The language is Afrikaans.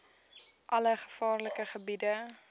alle gevaarlike gebiede